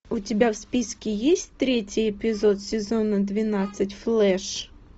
у тебя в списке есть третий эпизод сезона двенадцать флэш